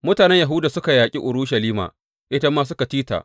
Mutanen Yahuda suka yaƙi Urushalima ita ma suka ci ta.